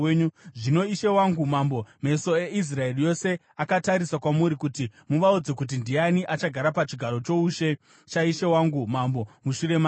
Zvino ishe wangu mambo, meso eIsraeri yose akatarisa kwamuri, kuti muvaudze kuti ndiani achagara pachigaro choushe chaishe wangu mambo, mushure make.